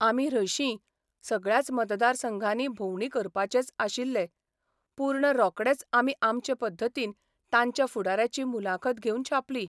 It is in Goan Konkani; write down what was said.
आमी हर्शीं सगळ्याच मतदारसंघानी भोवंडी करपाचेंच आशिल्ले पूर्ण रोकडेच आमी आमचे पद्दतीन तांच्या फुडाऱ्याची मुलाखत घेवन छापली.